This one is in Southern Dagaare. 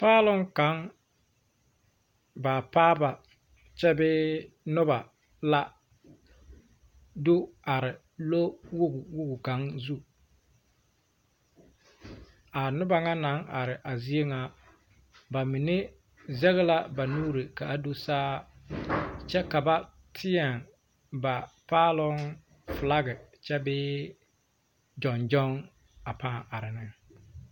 Paaloŋ kaŋ baapaaba kyɛ bee noba la do are lowoge lowoge kaŋa zuŋ a noba ŋa naŋ are a zie ŋa bamine zege la ba nuuri ka a do saa kyɛ ka teɛ ba paaloŋ filaki kyɛ bee gyoŋguoŋ pãã are ne.